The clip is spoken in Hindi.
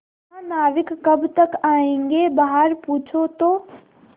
महानाविक कब तक आयेंगे बाहर पूछो तो